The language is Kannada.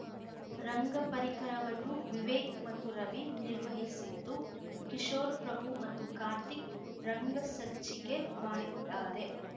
ರಂಗ ಪರಿಕರವನ್ನು ವಿವೇಕ್‌ ಮತ್ತು ರವಿ ನಿರ್ವಹಿಸಿದ್ದು ಕಿಶೋರ್ ಪ್ರಭು ಮತ್ತು ಕಾರ್ತಿಕ್‌ ರಂಗಸಜ್ಜಿಕೆ ಮಾಡಿದ್ದಾರೆ